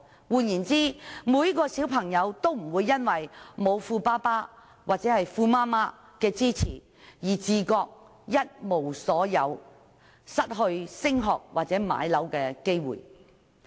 換言之，小朋友不會因為沒有富爸爸或富媽媽的支持，而自覺一無所有，失去升學或置業的機會。